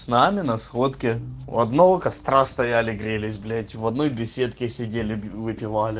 с нами на сходке у одного костра стояли грелись блять в одной беседке сидели выпивали